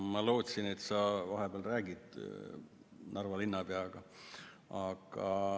Ma lootsin, et sa vahepeal räägid Narva linnapeaga.